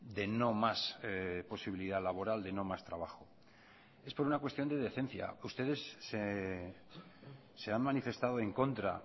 de no más posibilidad laboral de no más trabajo es por una cuestión de decencia ustedes se han manifestado en contra